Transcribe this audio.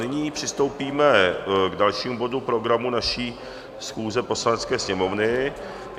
Nyní přistoupíme k dalšímu bodu programu naší schůze Poslanecké sněmovny.